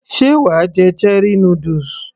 sé wàá jẹ cherie noodles